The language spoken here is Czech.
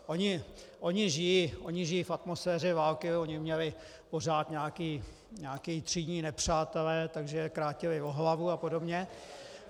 Oni žijí v atmosféře války, oni měli pořád nějaké třídní nepřátele, takže je krátili o hlavu a podobně.